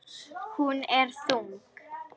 Hún er þung.